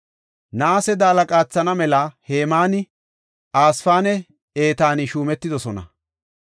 Naase daala qaathana mela Hemaani Asaafinne Etaani shuumetidosona.